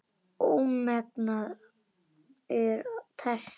Ómengað er það tært.